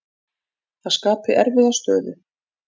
Það skapi erfiða stöðu.